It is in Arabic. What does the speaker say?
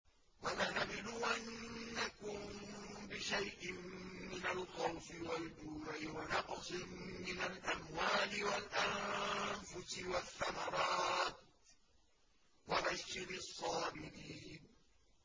وَلَنَبْلُوَنَّكُم بِشَيْءٍ مِّنَ الْخَوْفِ وَالْجُوعِ وَنَقْصٍ مِّنَ الْأَمْوَالِ وَالْأَنفُسِ وَالثَّمَرَاتِ ۗ وَبَشِّرِ الصَّابِرِينَ